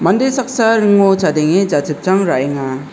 inde saksa ringo chadenge jachipchang ra·enga.